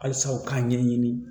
Halisa u k'a ɲɛɲini